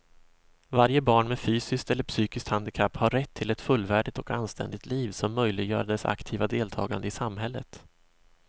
Varje barn med fysiskt eller psykiskt handikapp har rätt till ett fullvärdigt och anständigt liv som möjliggör dess aktiva deltagande i samhället.